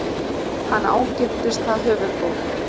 Hann ágirntist það höfuðból.